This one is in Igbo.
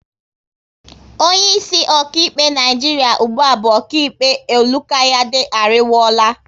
Onye isi okaịkpe Naijiria ụgbụa bu okaịkpe Olukayade Ariwoola